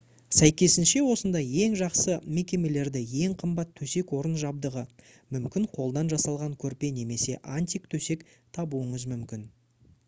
сәйкесінше осындай ең жақсы мекемелерде ең қымбат төсек-орын жабдығы мүмкін қолдан жасалған көрпе немесе антик төсек табуыңыз мүмкін